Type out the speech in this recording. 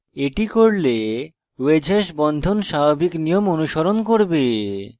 এটি করলে wedge hash বন্ধন স্বাভাবিক নিয়ম অনুসরণ করবে